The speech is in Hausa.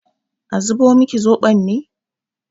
A zubo miki zoɓon ne?